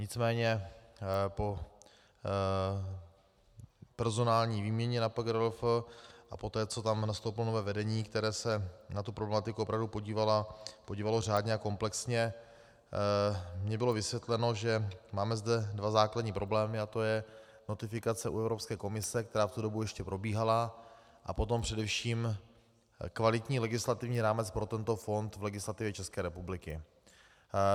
Nicméně po personální výměně na PGRLF a poté, co tam nastoupilo nové vedení, které se na tu problematiku opravdu podívalo řádně a komplexně, mně bylo vysvětleno, že máme zde dva základní problémy, a to je notifikace u Evropské komise, která v tu dobu ještě probíhala, a potom především kvalitní legislativní rámec pro tento fond v legislativě České republiky.